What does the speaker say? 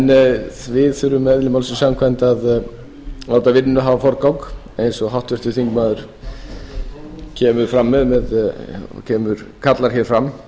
vera við þurfum eðli málsins samkvæmt að láta vinnuna hafa forgang eins og háttvirtur þingmaður kallar hér fram